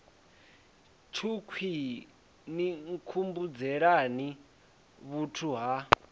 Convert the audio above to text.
tshukhwii ni nkhumbudzelani vhuthu ha